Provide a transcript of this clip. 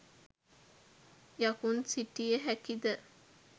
යකුන් සිටිය හැකිද?